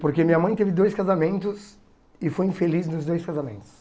Porque minha mãe teve dois casamentos e foi infeliz nos dois casamentos.